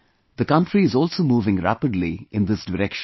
The country is also moving rapidly in this direction